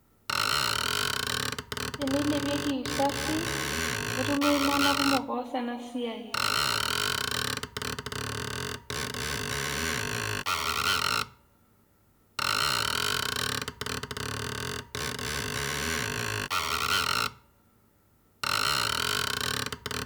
Tenilepieki usafi, netumi iltung'anak kumok oas enasiai.